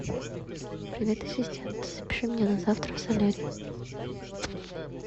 привет ассистент запиши меня на завтра в солярий